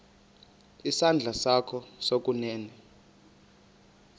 isandla sakho sokunene